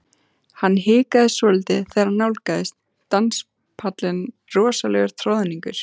Hann hikaði svolítið þegar hann nálgaðist danspallinn rosalegur troðningur.